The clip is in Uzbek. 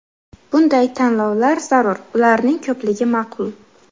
Bunday tanlovlar zarur, ularning ko‘pligi ma’qul.